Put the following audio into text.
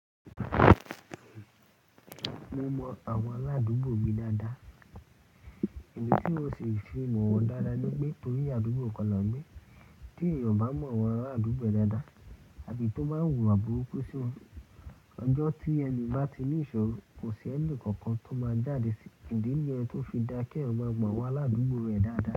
Mo mọ àwọn aládùúgbò mi dáadáa. Ìdí tí ó ṣe fi mọ̀ wọ́n dáadáa ni pé torí àdúgbò kan ni a oun gbé. Tí èèyàn bá mọ àwọn ará àdúgbò rẹ̀ dáadáa àti tó bá wùwà burúkú, ṣi wọn ọjọ́ tí ẹni un bá ti ní ìṣòro, kò sí ẹni kankan tó máa jáde sí ìdí yẹn tó fi dáa kí ẹ̀yàn máa mọ àwọn aládùúgbò rẹ̀ dáadáa.